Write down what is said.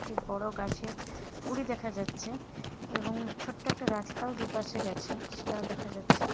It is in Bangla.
একটি বড় গাছের গুড়ি দেখা যাচ্ছে এবং ছোট্ট একটা রাস্তাও দুপাশে গেছেসেটাও দেখা যাচ্ছে।